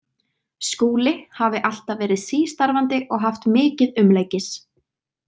Skúli hafi alltaf verið sístarfandi og haft mikið umleikis.